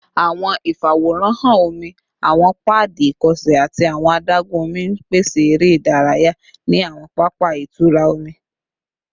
Awọn ifaworanhan omi, awọn paadi ikọsẹ, ati awọn adagun omi n pese ere idaraya ni awọn papa itura omi